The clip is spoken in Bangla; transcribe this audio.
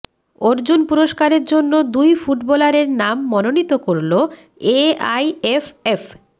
অর্জুন পুরষ্কারের জন্য দুই ফুটবলারের নাম মনোনীত করল এআইএফএফ